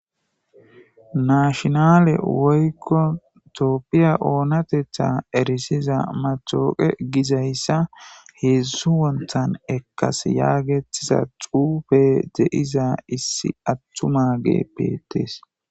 Nationale woyko tophiya oonateta erisira matawuka heezu wonthan ekasi yaagethiza xuufe de'iza issi atumage beetes.